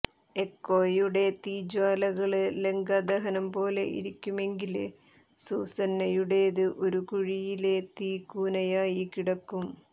എക്കോയുടെ തീജ്വാലകള് ലങ്കാദഹനംപോലെ ഇരിക്കുമെങ്കില് സൂസന്നയുടേത് ഒരു കുഴിയിലെ തീക്കൂനയായി കിടക്കും